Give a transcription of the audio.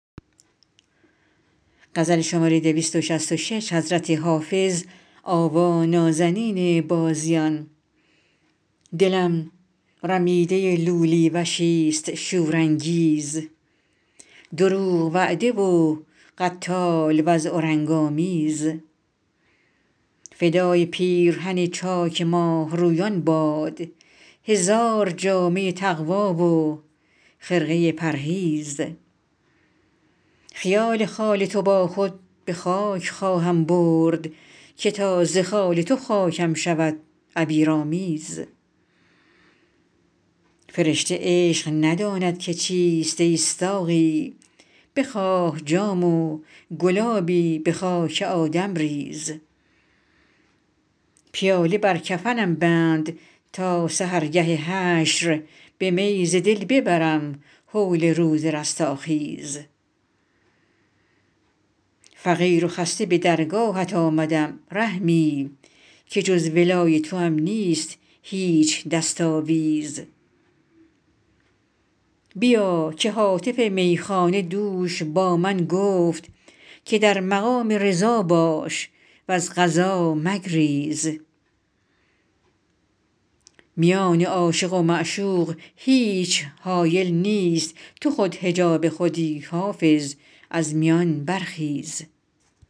دلم رمیده لولی وشیست شورانگیز دروغ وعده و قتال وضع و رنگ آمیز فدای پیرهن چاک ماهرویان باد هزار جامه تقوی و خرقه پرهیز خیال خال تو با خود به خاک خواهم برد که تا ز خال تو خاکم شود عبیرآمیز فرشته عشق نداند که چیست ای ساقی بخواه جام و گلابی به خاک آدم ریز پیاله بر کفنم بند تا سحرگه حشر به می ز دل ببرم هول روز رستاخیز فقیر و خسته به درگاهت آمدم رحمی که جز ولای توام نیست هیچ دست آویز بیا که هاتف میخانه دوش با من گفت که در مقام رضا باش و از قضا مگریز میان عاشق و معشوق هیچ حایل نیست تو خود حجاب خودی حافظ از میان برخیز